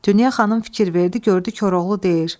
Dünya xanım fikir verdi, gördü Koroğlu deyir: